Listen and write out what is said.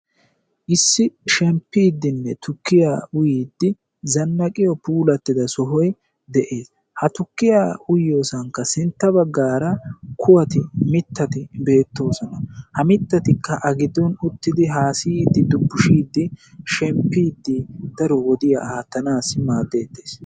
Issi shemppidenne tukkiya uyyide zannaqqiyo puulattida sohoy de'ees. ha tukkiya uyyiyoosankka sintta baggaara kuwati mittati beettoosona. ha mittatikka a giddon uttidi haassayidi dubbushide shemppidi daro wodiya aattanas maaddetees.